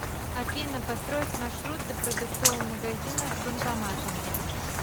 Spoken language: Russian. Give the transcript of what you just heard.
афина построить маршрут до продуктового магазина с банкоматом